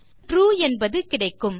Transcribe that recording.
இங்கு ட்ரூ என்பது கிடைக்கும்